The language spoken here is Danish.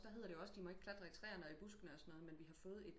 Der hedder det de ikke må klatre i træerne og buskene og sådan noger men vi har fået et